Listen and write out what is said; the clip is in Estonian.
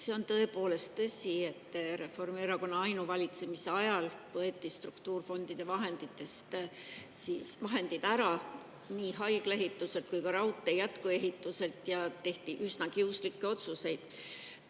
See on tõepoolest tõsi, et Reformierakonna ainuvalitsemise ajal võeti struktuurfondide vahendid ära nii haigla ehituselt kui ka raudtee jätkuehituselt ja tehti üsna kiuslikke otsuseid.